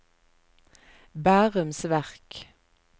Bærums Verk